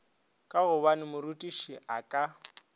ka gobane morutiši a ka